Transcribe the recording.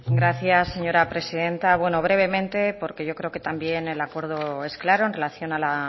gracias señora presidenta bueno brevemente porque yo creo que también el acuerdo es claro en relación a la